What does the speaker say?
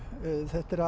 þetta